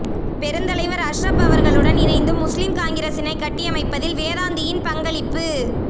பெருந்தலைவர் அஷ்ரப் அவர்களுடன் இணைந்து முஸ்லிம் காங்கிரசினை கட்டியமைப்பதில் வேதாந்தியின் பங்களிப்பு